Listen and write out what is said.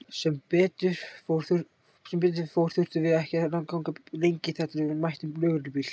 Sem betur fór þurftum við ekki að ganga lengi þar til við mættum lögreglubíl.